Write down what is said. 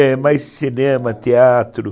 É, mais cinema, teatro.